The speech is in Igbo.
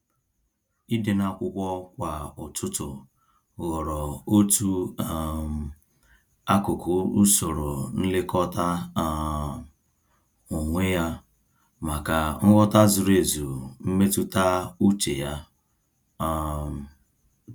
Ịde n'akwụkwọ kwa ụtụtụ ghọrọ otu um akụkụ usoro nlekọta um onwe ya, maka nghọta zuru ezu mmetụta uche ya. um